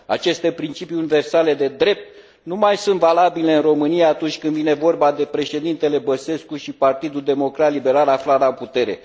Aceste principii universale de drept nu mai sunt valabile în România, atunci când vine vorba de președintele Băsescu și Partidul Democrat Liberal aflat la putere.